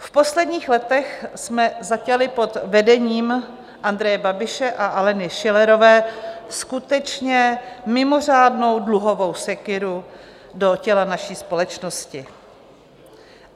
V posledních letech jsme zaťali pod vedením Andreje Babiše a Aleny Schillerové skutečně mimořádnou dluhovou sekyru do těla naší společnosti.